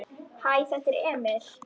Hæ, þetta er Emil.